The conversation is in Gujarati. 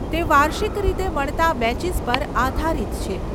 તે વાર્ષિક રીતે મળતા બેચીસ પર આધારિત છે.